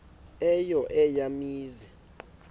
eyo eya mizi